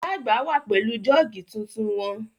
Ìyá àgbà wà pẹ̀lú jọ́ọ̀gì tuntun wọn